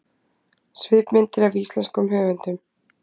Svipmyndir af íslenskum höfundum